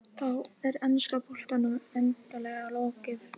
Ólympíuleikum fatlaðra kannski.